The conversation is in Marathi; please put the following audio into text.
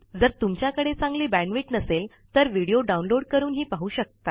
जर तुमच्याकडे चांगली बॅण्डविड्थ नसेल तर तुम्ही हे डाऊनलोड करूनहि बघू शकता